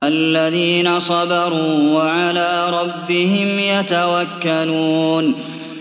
الَّذِينَ صَبَرُوا وَعَلَىٰ رَبِّهِمْ يَتَوَكَّلُونَ